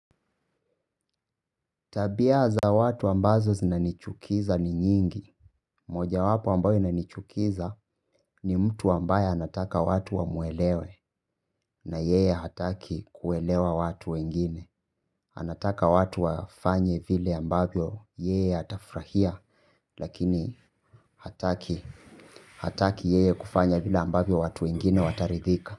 Tabia za watu ambazo zinanichukiza ni nyingi. Moja wapo ambayo inanichukiza ni mtu ambaye anataka watu wamuelewe na yeye hataki kuelewa watu wengine. Anataka watu wafanye vile ambavyo yeye hatafrahia. Lakini hataki yeye kufanya vile ambayo watu wengine wataridhika.